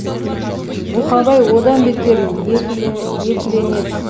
бұқабай одан бетер екілене түсті